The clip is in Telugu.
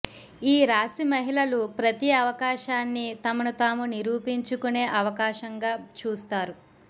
ఈ రాశి మహిళలు ప్రతి అవకాశాన్ని తమను తాము నిరూపించుకునే అవకాశంగా చూస్తారు